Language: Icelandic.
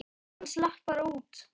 Hann slapp bara út.